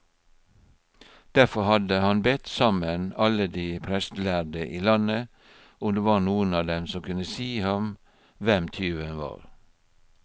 Derfor hadde han bedt sammen alle de prestlærde i landet, om det var noen av dem som kunne si ham hvem tyven var.